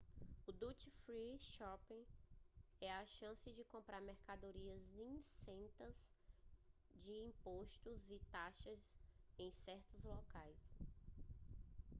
o duty free shopping é a chance de comprar mercadorias isentas de impostos e taxas em certos locais